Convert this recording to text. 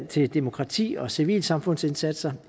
til demokrati og civilsamfundsindsatser